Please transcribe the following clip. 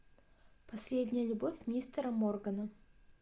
последняя любовь мистера моргана